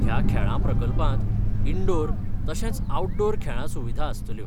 ह्या खेळां प्रकल्पात इनडोअर तशेंच आऊटडोअर खेळां सुविधा आसतल्यो.